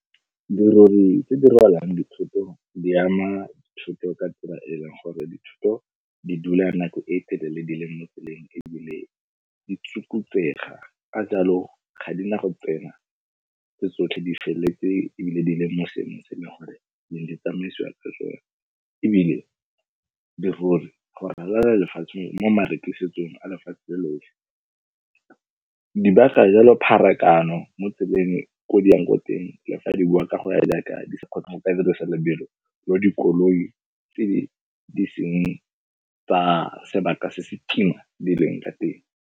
Dirori tse di rwalang dithoto di ama dithoto ka tsela eleng gore dithoto di dula nako e telele di le mo tseleng ebile di tsukutsega. Ka jaalo ga di na go tsena tso tsotlhe di felletse ebile di le mo seemong se e leng gore di ne di tsamaisiwa ke sone. Ebile dirori go ralala lefatshe mo marekisetsong a lefatshe lotlhe pharakano mo tseleng ko di yang ko teng di a fa re bua ka go ya jaaka lebelo le dikoloi tse di seng ka sebaka se se kima di leng ka teng.